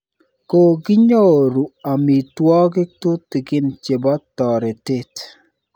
Kokinyoru amitwogik tutikin chepo toretet.